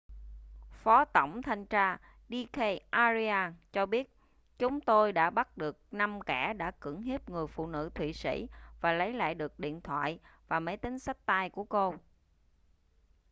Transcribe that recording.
phó tổng thanh tra d k arya cho biết chúng tôi đã bắt được năm kẻ đã cưỡng hiếp người phụ nữ thụy sĩ và lấy lại được điện thoại và máy tính xách tay của cô